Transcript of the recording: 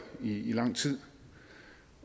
i i lang tid